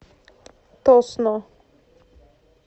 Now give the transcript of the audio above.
тосно